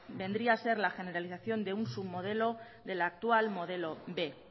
vendría ser la generalización de un submodelo del actual modelo b